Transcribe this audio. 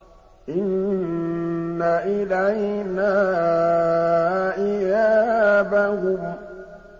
إِنَّ إِلَيْنَا إِيَابَهُمْ